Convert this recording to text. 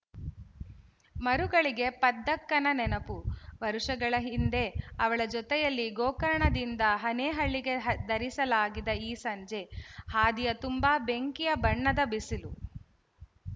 ಮರುಗಳಿಗೆ ಪದ್ದಕ್ಕನ ನೆನಪು ವರುಷಗಳ ಹಿಂದೆ ಅವಳ ಜತೆಯಲ್ಲಿ ಗೋಕರ್ಣದಿಂದ ಹನೇಹಳ್ಳಿಗೆ ದರಿಸಾಗಿದ ಈ ಸಂಜೆ ಹಾದಿಯ ತುಂಬ ಬೆಂಕಿಯ ಬಣ್ಣದ ಬಿಸಿಲು